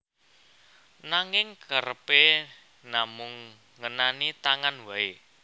Nanging kerepé namung ngenani tangan waé